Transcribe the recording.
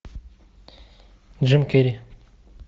джим керри